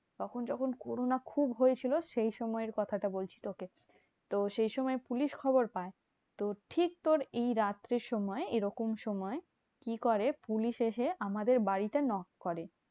তখন যখন corona খুব হয়েছিল, সেই সময়ের কথাটা বলছি তোকে। তো সেইসময় পুলিশ খবর পায়। তো ঠিক তোর এই রাত্রির সময় এরকম সময় কি করে? পুলিশ এসে আমাদের বাড়িতে knock করে।